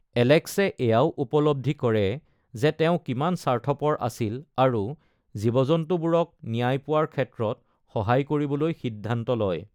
এলেক্সে এয়াও উপলব্ধি কৰে যে তেওঁ কিমান স্বাৰ্থপৰ আছিল আৰু জীৱ-জন্তুবোৰক ন্যায় পোৱাৰ ক্ষেত্ৰত সহায় কৰিবলৈ সিদ্ধান্ত লয়।